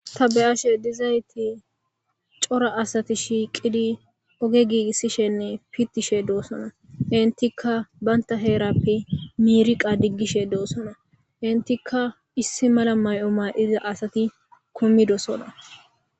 ta beyashe dizayti cora asati shiiqidi oge giigissishenne pittishe doossona intika baynta heerappe miiriqa diggishe doossona intika issi mala may7o maa7iza asati kumidosona